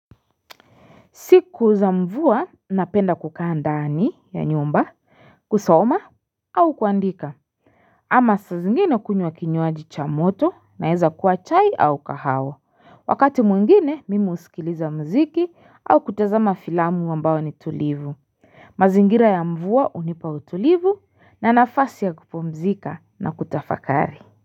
Siku za mvua napenda kukaa ndani ya nyumba kusoma au kuandika ama saa zingine kunywa kinywaji cha moto naeza kuwa chai au kahawa wakati mwengine mimi husikiliza muziki au kutazama filamu ambayo ni tulivu mazingira ya mvua hunipa utulivu na nafasi ya kupumzika na kutafakari.